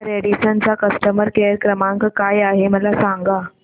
Radisson चा customer care क्रमांक काय आहे मला सांगा